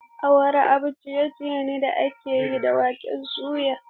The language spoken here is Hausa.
Awara abun ciye-ciye ne da aka yi da waken soya.